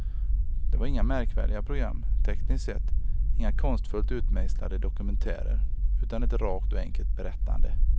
Det var inga märkvärdiga program tekniskt sett, inga konstfullt utmejslade dokumentärer, utan ett rakt och enkelt berättande.